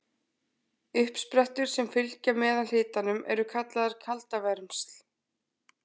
Uppsprettur sem fylgja meðalhitanum eru kallaðar kaldavermsl.